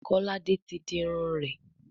Kolade tí dì Irun rẹ.